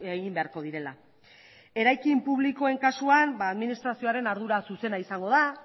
egin beharko direla eraikin publikoen kasuan administrazioaren ardura zuzena izango da